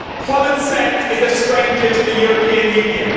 Common sense is a stranger to the European Union.